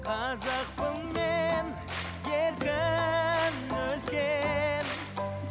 қазақпын мен еркін өскен